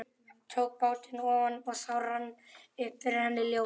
Tók bátinn ofan og þá rann upp fyrir henni ljós.